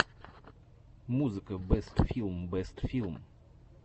музыка бэст филм бэст фильм